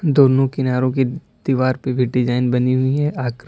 दोनों किनारो के दीवार पे भी डिजाइन बनी हुई है आकृ--